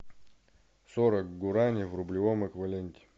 сорок гуарани в рублевом эквиваленте